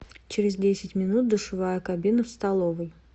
через десять минут душевая кабина в столовой